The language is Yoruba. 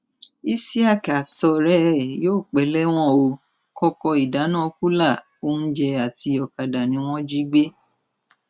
isiaq àtọrẹ ẹ yóò pẹ lẹwọn ó kọkọ ìdáná kùlà oúnjẹ àti ọkadà ni wọn jí gbé